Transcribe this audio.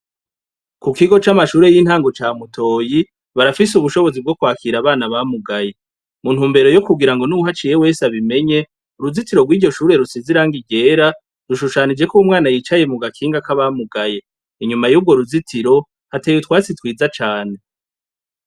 Kukigo c’amashure y’intango ca mutoyi, barafise ubushobozi bwo kwakira abana bamugaye, mu ntumbero yo kugira ngo nuwuhaciye wese abimenye, uruzitiro rw’iryoshure rusize irangi ryera rushushanije ko umwana yicaye mu gakinga k’abamugaye inyuma yurwo ruzitiro hateye utwatsi twiza cane.